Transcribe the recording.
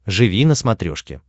живи на смотрешке